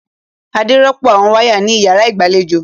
Adé rọ́pò àwọn wáyà ní ìyàrá ìgbàlejò.